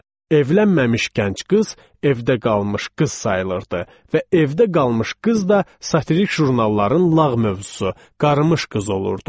Evlənməmiş gənc qız evdə qalmış qız sayılırdı və evdə qalmış qız da satirik jurnalların lağ mövzusu, qarmış qız olurdu.